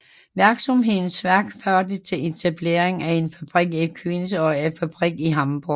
Virksomhedens vækst førte til etablering af en fabrik i Queens og en fabrik i Hamborg